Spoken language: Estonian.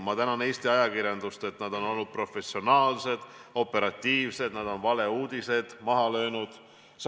Ma tänan Eesti ajakirjandust, et nad on olnud professionaalsed ja operatiivsed, nad on valeuudised maha löönud.